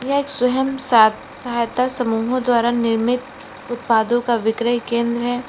एक स्वयं सा सहायता समूहो द्वारा निर्मित उत्पादो का विक्रय केंद्र है।